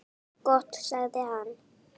Gott sagði hann.